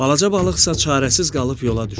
Balaca balıqsa çarəsiz qalıb yola düşdü.